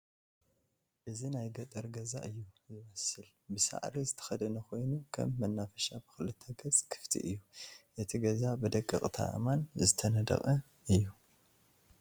እዚ ናይ ገጠር ገዛ እዩ ዝመስል ብሳዕሪ ዝተከደነ ኮይኑ ከም መናፈሻ ብክልተ ገፅ ክፍቲ እየ፡፡ እቲ ገዛ ብደቀቅቲ አእማን ዝተነደቀ እየ፡፡